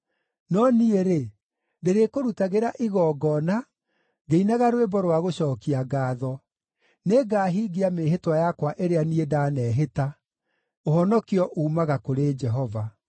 No niĩ-rĩ, ndĩrĩkũrutagĩra igongona ngĩinaga rwĩmbo rwa gũcookia ngaatho. Nĩngahingia mĩĩhĩtwa yakwa ĩrĩa niĩ ndanehĩta. Ũhonokio uumaga kũrĩ Jehova.”